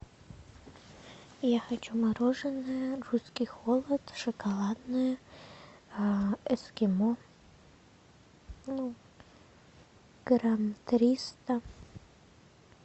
я хочу мороженое русский холод шоколадное эскимо ну грамм триста